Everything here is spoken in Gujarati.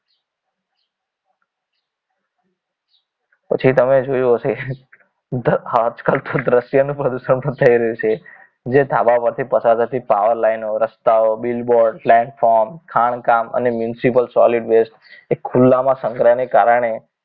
પછી તમે જોયું હશે આજકાલ દ્રશ્યનું પ્રદૂષણ પણ થઈ રહ્યું છે જે ધાબા પરથી પસાર થતી tower line નો રસ્તાઓ bill board platform ખાણ કામ અને municipal solid waste એ ખુલ્લામાં સંગ્રહની કારણે